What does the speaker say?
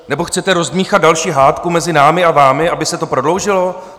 Nebo chcete rozdmýchat další hádku mezi námi a vámi, aby se to prodloužilo?